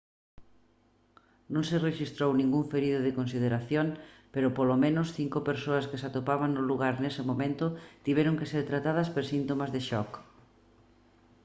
non se rexistrou ningún ferido de consideración pero polo menos cinco persoas que se atopaban no lugar nese momento tiveron que ser tratadas por síntomas de shock